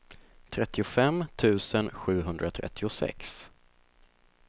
trettiofem tusen sjuhundratrettiosex